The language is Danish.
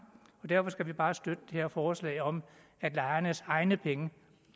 derfor skal vi bare støtte det her forslag om at lejernes egne penge